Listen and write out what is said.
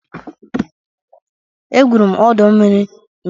Egwuru m ọdọ mmiri nke Transkọpụ Hịịtịn Họtelụ dị n'Abụja ụnyaahụ.